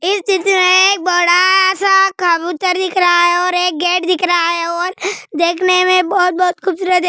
इस चित्र में एक बड़ा सा कबूतर दिख रहा है और एक गेट दिख रहा है और देखने में बहुत-बहुत खूबसूरत है।